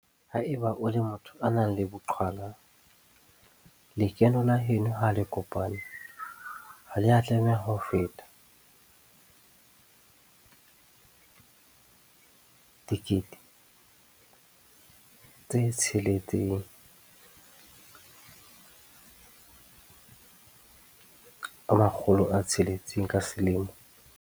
Ha eba o le motho a nang le boqhwala, lekeno la heno ha le kopane ha le a tlameha ho feta R600 000 ka selemo kapa